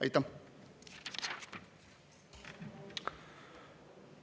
Aitäh!